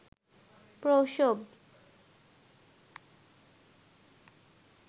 প্রসব